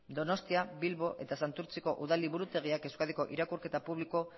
donostia bilbo eta santurtziko udal liburutegiak euskadiko irakurketa publiko